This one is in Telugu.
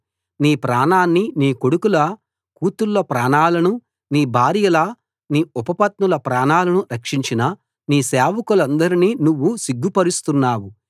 నీ ప్రాణాన్ని నీ కొడుకుల కూతుళ్ళ ప్రాణాలను నీ భార్యల నీ ఉపపత్నుల ప్రాణాలను రక్షించిన నీ సేవకులనందరినీ నువ్వు సిగ్గుపరుస్తున్నావు